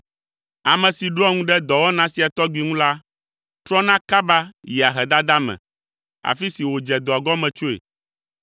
Ame si ɖoa ŋu ɖe dɔwɔna sia tɔgbi ŋu la, trɔna kaba yia ahedada me, afi si wòdze dɔa gɔme tsoe.